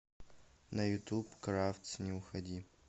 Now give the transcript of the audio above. на ютуб кравц не уходи